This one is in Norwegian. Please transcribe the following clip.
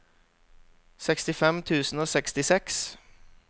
sekstifem tusen og sekstiseks